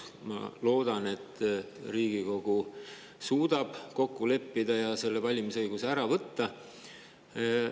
Ma loodan, et Riigikogu suudab kokku leppida ja selle valimisõiguse ära võtta.